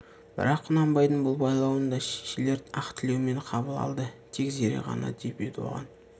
бірақ құнанбайдың бұл байлауын да шешелер ақ тілеумен қабыл алды тек зере ғана деп еді оған